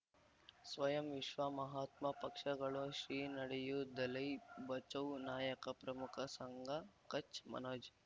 ಸ್ವಯಂ ವಿಶ್ವ ಮಹಾತ್ಮ ಪಕ್ಷಗಳು ಶ್ರೀ ನಡೆಯೂ ದಲೈ ಬಚೌ ನಾಯಕ ಪ್ರಮುಖ ಸಂಘ ಕಚ್ ಮನೋಜ್